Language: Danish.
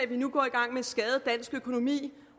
vi nu går i gang med skade dansk økonomi